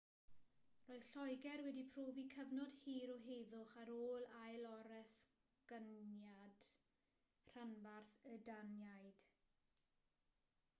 roedd lloegr wedi profi cyfnod hir o heddwch ar ôl ailoresygniad rhanbarth y daniaid